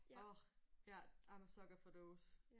Åh ja I am a sucker for those